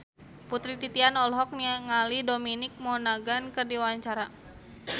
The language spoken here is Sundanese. Putri Titian olohok ningali Dominic Monaghan keur diwawancara